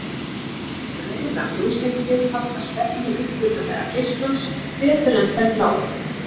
Rauðar ljóseindir halda stefnu upprunalega geislans betur en þær bláu.